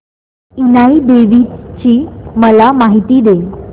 इनाई देवीची मला माहिती दे